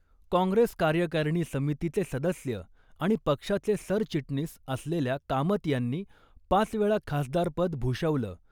काँग्रेस कार्यकारिणी समितीचे सदस्य आणि पक्षाचे सरचिटणीस असलेल्या कामत यांनी पाच वेळा खासदारपद भूषवलं.